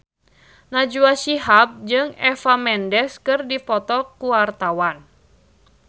Najwa Shihab jeung Eva Mendes keur dipoto ku wartawan